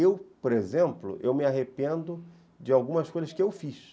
Eu, por exemplo, eu me arrependo de algumas coisas que eu fiz.